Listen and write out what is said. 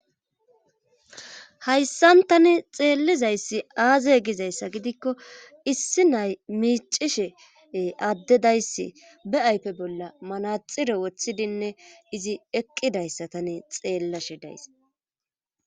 Hayssan tani xeellizayssi aazey gizayssa gidikko issi nay miicishe addedayss be7aype bolla manaxire wothidinne izi eqqidayssa tani xeellashe days.